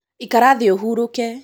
ikara thĩ ũhurũke